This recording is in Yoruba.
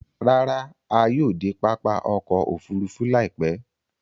Ràrà, à yóò de pápá ọkọ̀ òfurufú láìpẹ̀